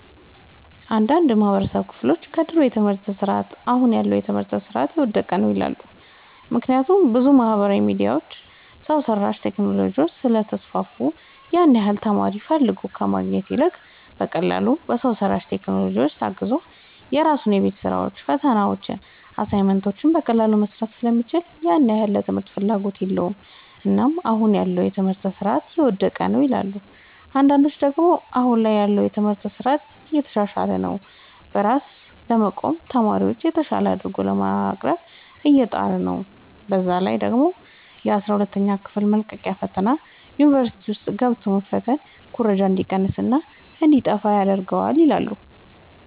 አንዳንድ የማህበረሰቡ ክፍሎች ከድሮ የትምህርት ስርዓት አሁን ያለው የትምህርት ስርዓት የወደቀ ነው ይላሉ። ምክንያቱም ብዙ ማህበራዊ ሚዲያዎች፣ ሰው ሰራሽ ቴክኖሎጂዎች ስለተስፋፉ ያን ያህል ተማሪ ፈልጎ ከማግኘት ይልቅ በቀላሉ በሰው ሰራሽ ቴክኖሎጂዎች ታግዞ የራሱን የቤት ስራዎችን፣ ፈተናዎችን፣ አሳይመንቶችን በቀላሉ መስራት ስለሚችል ያን ያህል ለትምህርት ፍላጎት የለውም። እናም አሁን ያለው የትምህርት ስርዓት የወደቀ ነው ይላሉ። አንዳንዶች ደግሞ አሁን ላይ ያለው የትምህርት ስርዓት እየተሻሻለ ነው። በራሱ ለመቆምና ተማሪዎችን የተሻለ አድርጎ ለማቅረብ እየጣረ ነው። በዛ ላይ ደግሞ የአስራ ሁለተኛ ክፍል መልቀቂያ ፈተና ዩኒቨርሲቲ ውስጥ ገብቶ መፈተን ኩረጃ እንዲቀንስና እንዲጣፋ ይረዳል ይላሉ።